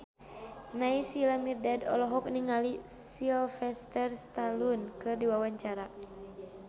Naysila Mirdad olohok ningali Sylvester Stallone keur diwawancara